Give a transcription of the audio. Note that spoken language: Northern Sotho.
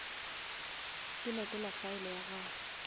ke lekola file ya gago